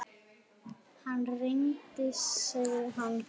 Hann rignir, sagði hann.